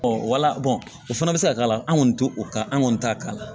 wala o fana bɛ se ka k'a la an kɔni t'o kan an kɔni t'a k'a la